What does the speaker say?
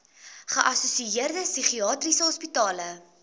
geassosieerde psigiatriese hospitale